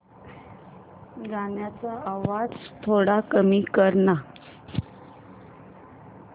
गाण्याचा आवाज थोडा कमी कर ना